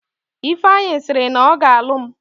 Ifeanyi sịrị na ọ ga alụ m